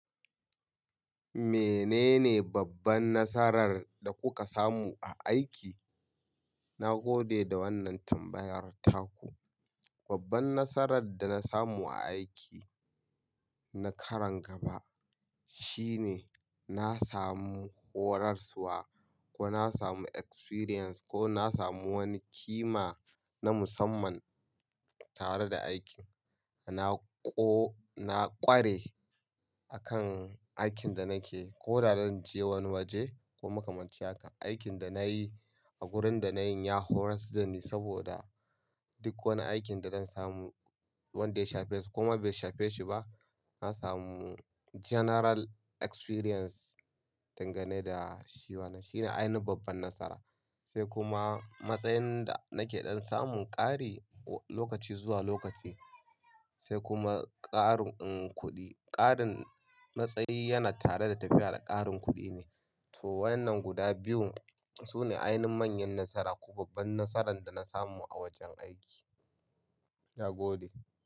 Menene babban nasarar da kuka samu a aiki? Na gode da wannan tambayar taku. Babban nasarar da na samu a aiki na karon gaba, shine na samu horarswa, ko na samu experience, ko na samu wani ƙima na musamman, tare da aikin. Na ko, na ƙware akan aikin da nakeyi, ko da zan je wani waje, ko makamancin haka. Aikin da na yi, a wurin da na yin, ya horar da ni saboda duk wani aikin da zan samu, wanda ya shafe su, koma bai shafe shi ba, na samu general experience dangane da shi wanan. Shine ainihin babban nasara. Sai kuma, matsayin da nake ɗan samun ƙari lokaci zuwa lokaci, sai kuma ƙarin, kuɗi. Ƙarin matsayi yana tare da tafiya da ƙarin kuɗi ne. To, wayannan guda biyun, su ne ainihin manyan nasara, ko babban nasarar da na samu a wajen aiki. Na gode.